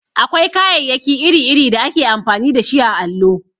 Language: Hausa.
Akwai kayayyaki iri-iri da ake amfani dashi a allo.